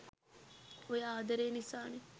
ඔය ආදරේ නිසානෙ